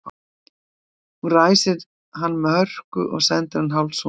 Hún ræsir hann með hörku og sendir hann hálfsofandi fram.